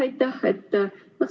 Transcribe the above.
Aitäh!